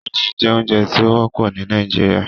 Iresi jẹ ounjẹ ti o wọpọ ni Nigeria